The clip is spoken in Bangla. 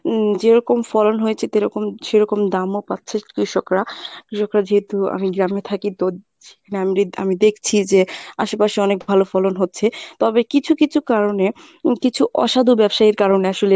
উম যেরকম ফলেন হয়েছে তেরকম সেরকম দামও পাচ্ছে কৃষকরা কৃষকরা যেহেতু আমি গ্রামে থাকি তো আম~ আমি দেখছি যে আশেপাশে অনেক ভালো ফলন হচ্ছে, তবে কিছু কিছু কারণে উম কিছু অসাধু ব্যবসায়ীর কারণে আসলে